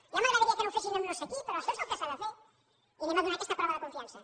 ja m’agradaria que no ho fessin amb no sé qui però això és el que s’ha de fer i anem a donar aquesta prova de confiança